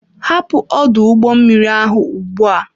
Hapụ ọdụ ụgbọ mmiri ahụ ugbu a!